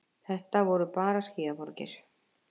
Þetta voru bara skýjaborgir.